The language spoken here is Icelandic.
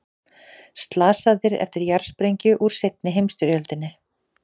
Slasaðir eftir jarðsprengju úr seinni heimsstyrjöld